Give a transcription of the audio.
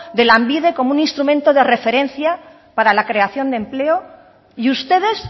de lanbide como un instrumento de referencia para la creación de empleo y ustedes